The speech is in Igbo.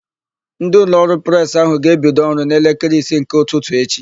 Ndị ụlọọrụ Presị áhụ̀ ga-ebido ọrụ n'elekere isii nke ụtụtụ echi.